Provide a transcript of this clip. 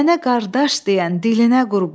Mənə qardaş deyən dilinə qurban.